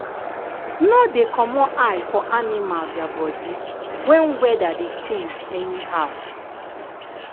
no dey comot eye for animal their body when weather dey change anyhow.